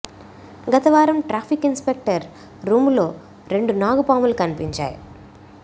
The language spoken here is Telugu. గత వారం ట్రాఫిక్ ఇన్ స్పెక్టర్ రూములో రెండు నాగుపాములు కనిపించాయి